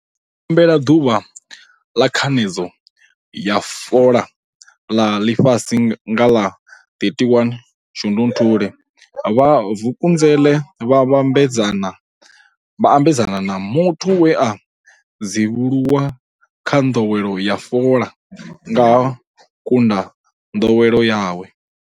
U PEMBELELA Ḓuvha ḽa Khanedzo ya fola ḽa Ḽifhasi nga ḽa 31 Shundunthule, vha Vukuzenzele vha ambedzana na muthu we a dzivhuluwa kha nḓowelo ya fola nga ha u kunda nḓowelo yawe.